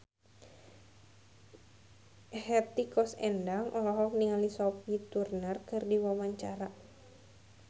Hetty Koes Endang olohok ningali Sophie Turner keur diwawancara